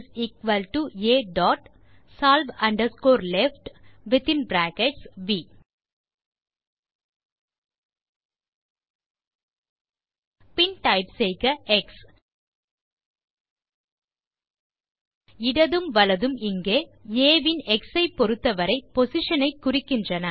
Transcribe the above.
xA dot solve underscore left பின் type செய்க x இடதும் மற்றும் வலதும் இங்கே ஆ இன் எக்ஸ் ஐ பொறுத்த வரை பொசிஷன் ஐ குறிக்கின்றன